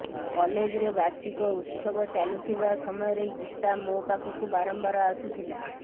କଲେଜ୍ରେ ବାର୍ଷିକ ଉତ୍ସବ ଚାଲୁଥିବା ସମୟରେ ଗୀତା ମୋ ପାଖକୁ ବାରମ୍ବାର୍ ଆସୁଥିଲା